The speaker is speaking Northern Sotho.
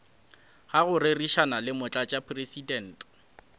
ga go rerišana le motlatšamopresidente